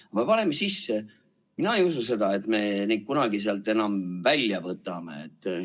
Me paneme erisätted sisse ja mina ei usu, et me kunagi need sealt välja võtame.